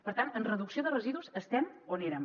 per tant en reducció de residus estem on érem